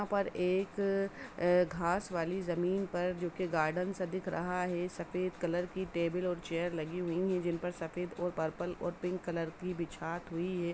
यहाँ पर एक घास वाली जमीन पर जो की गार्डन सा दिख रहा है सफेद कलर की टेबल और चेयर लगी हुई हैं जिन पर सफेद और पर्पल और पिंक कलर की बिछात हुई है।